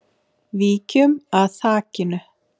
Víkjum að þakinu.